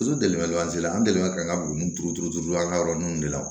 an delila ka an ka buguni turu turu turu an ka yɔrɔ nun de la